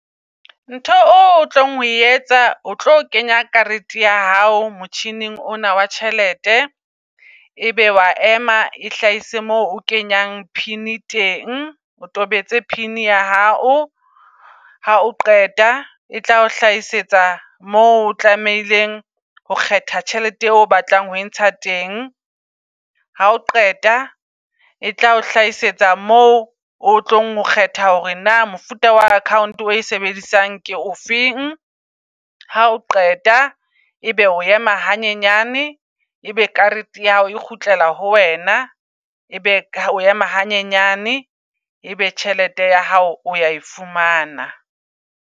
Ntho o tlang ho etsa o tlo kenya karete ya hao motjhining ona wa tjhelete ebe wa ema e hlahise moo o kenyang pin teng. O tobetse pin ya hao. Ha o qeta e tla o hlahisetsa mo o tlamehileng ho kgetha tjhelete eo o batlang ho e ntsha teng. Ha o qeta e tla o hlahisetsa mo o tlong ho kgetha hore na mofuta wa account o e sebedisang ke o feng. Ha o qeta ebe o ema hanyenyane, e be karete ya hao e kgutlela ho wena. Ebe o ema hanyenyane, e be tjhelete ya hao o ya e fumana.